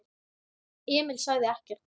Emil sagði ekkert.